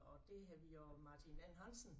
Og der havde vi jo Martin N Hansen